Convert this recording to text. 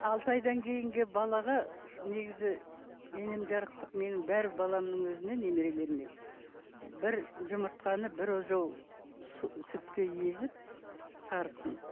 алты айдан кейінгі балаға негізі енем жарықтық менің бар баламның өзіне немерелеріне бір жұмыртқаны бір ожау сүтке езіп сарысын